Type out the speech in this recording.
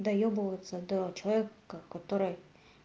доебываться до человека который